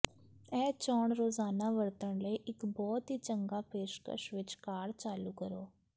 ਇਹ ਚੋਣ ਰੋਜ਼ਾਨਾ ਵਰਤਣ ਲਈ ਇੱਕ ਬਹੁਤ ਹੀ ਚੰਗਾ ਪੇਸ਼ਕਸ਼ ਵਿੱਚ ਕਾਰ ਚਾਲੂ ਕਰੋ